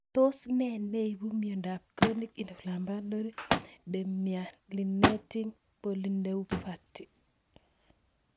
Tos nee neipu miondop Chronic inflammatory demyelinating polyneuropathy